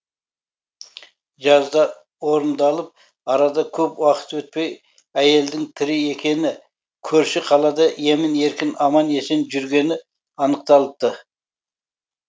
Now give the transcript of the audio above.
жаза орындалып арада көп уақыт өтпей әйелдің тірі екені көрші қалада емін еркін аман есен жүргені анықталыпты